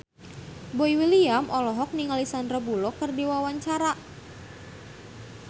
Boy William olohok ningali Sandar Bullock keur diwawancara